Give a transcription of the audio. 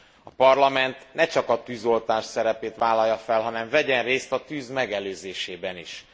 A Parlament ne csak a tűzoltás szerepét vállalja fel, hanem vegyen részt a tűz megelőzésében is.